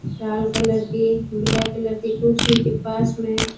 shawl colour के black colour की कुर्सी के पास में--